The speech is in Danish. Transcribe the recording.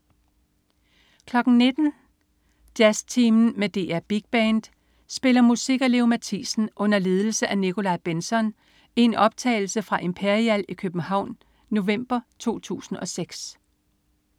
19.00 Jazztimen med DR Big Band spiller musik af Leo Mathisen under ledelse af Nikolaj Bentzon i en optagelse fra Imperial i København, november 2006